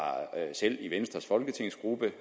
selv i venstres folketingsgruppe